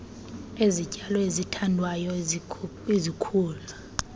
ezityalo ezithandwayo ezikhula